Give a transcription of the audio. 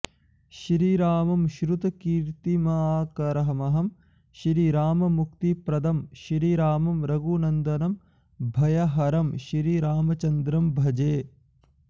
श्रीरामं श्रुतकीर्तिमाकरमहं श्रीराममुक्तिप्रदं श्रीरामं रघुनन्दनं भयहरं श्रीरामचन्द्रं भजे